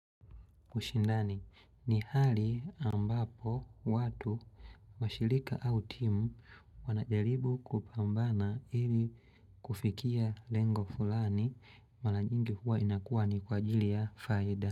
Ushindani, ni hali ambapo watu washirika au timu wanajaribu kupambana ili kufikia lengo fulani mara nyingi huwa inakuwa ni kwa ajili ya faida.